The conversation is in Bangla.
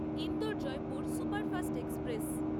Indore Jaipur superfast express